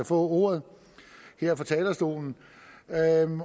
få ordet her fra talerstolen